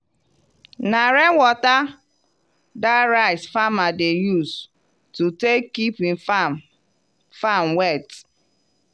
na rain water dat rice farmer dey use to take keep him farm farm wet.